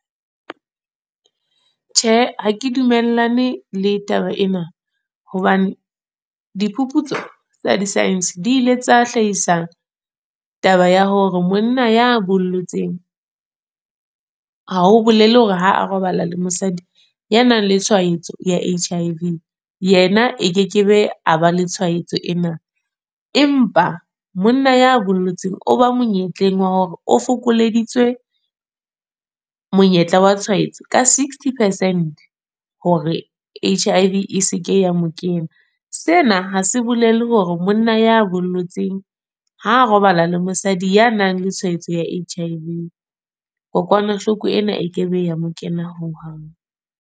Tjhe, ha ke dumellane le taba ena. Hobane, diphuputso tsa di-science, di ile tsa hlahisa, taba ya hore monna ya bollotseng. Ha ho bolele hore ha a robala le mosadi ya nang le tshwaetso ya H_I_V, yena e ke ke be a ba le tshwaetso ena. Empa monna ya bollotseng oba monyetleng wa hore o fokoleditswe, monyetla wa tshwaetso ka sixty percent. Hore H_I_V e se ke ya mo kena. Sena ha se bolele hore monna ya bollotseng ha robala le mosadi ya nang le tshwaetso ya H_I_V, kokwanahloko ena e kebe ya mo kena ho hang.